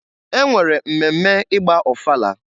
E nwere mmemme ị gba ọfala.